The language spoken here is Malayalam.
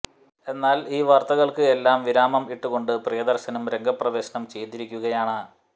എന്നാൽ ഈ വാർത്തകൾക്ക് എല്ലാം വിരാമം ഇട്ടുകൊണ്ട് പ്രീയദർശനും രംഗപ്രവേശനം ചെയ്തിരിക്കുകയാണ്